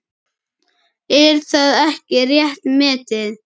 Er það ekki rétt metið?